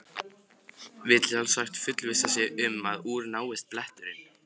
Vill sjálfsagt fullvissa sig um að úr náist bletturinn.